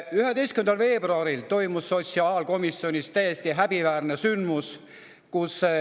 11. veebruaril toimus sotsiaalkomisjonis täiesti häbiväärne sündmus.